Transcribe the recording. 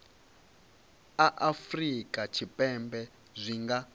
a afurika tshipembe zwi nga